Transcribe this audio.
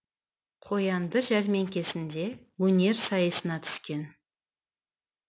қоянды жәрмеңкесінде өнер сайысына түскен